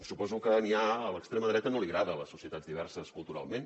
suposo que a l’extrema dreta no li agraden les societats diverses culturalment